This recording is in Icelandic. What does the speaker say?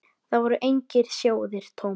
Þar voru engir sjóðir tómir.